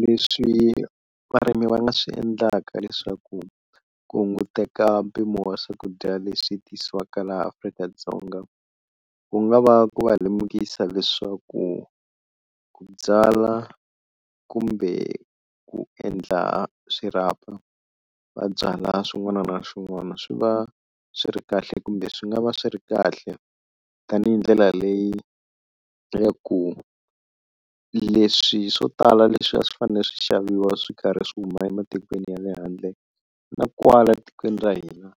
Leswi varimi va nga swi endlaka leswaku ku hunguteka mpimo wa swakudya leswi tisiwaka laha Afrika-Dzonga, ku nga va ku va lemukisa leswaku ku byala kumbe ku endla swirhapa va byala swin'wana na swin'wana swi va swi ri kahle kumbe swi nga va swi ri kahle tanihi ndlela leyi ya ku leswi swo tala leswi a swi fanele swi xaviwa swi karhi swi huma ematikweni ya le handle na kwala tikweni ra hina